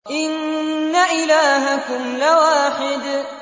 إِنَّ إِلَٰهَكُمْ لَوَاحِدٌ